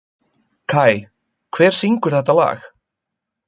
Kai, hver syngur þetta lag?